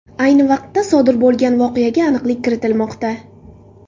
Ayni vaqtda, sodir bo‘lgan voqeaga aniqlik kiritilmoqda.